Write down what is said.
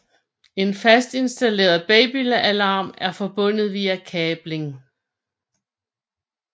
En fastinstalleret babyalarm er forbundet via kabling